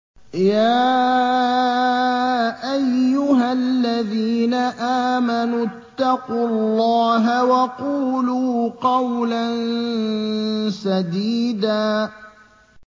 يَا أَيُّهَا الَّذِينَ آمَنُوا اتَّقُوا اللَّهَ وَقُولُوا قَوْلًا سَدِيدًا